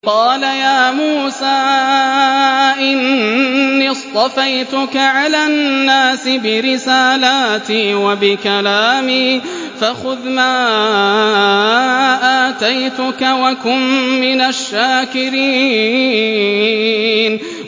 قَالَ يَا مُوسَىٰ إِنِّي اصْطَفَيْتُكَ عَلَى النَّاسِ بِرِسَالَاتِي وَبِكَلَامِي فَخُذْ مَا آتَيْتُكَ وَكُن مِّنَ الشَّاكِرِينَ